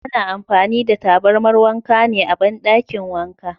Ana amfani da tabarmar wanka ne a bandakin wanka.